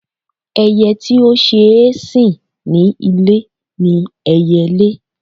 Ẹyẹ́ tí ó ṣeé sìn ní ilé ni ẹyẹlé.